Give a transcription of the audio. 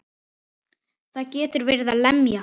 Það getur verið að lemja.